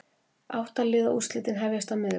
Átta liða úrslitin hefjast á miðvikudag